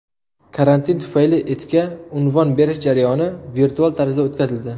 Karantin tufayli itga unvon berish jarayoni virtual tarzda o‘tkazildi.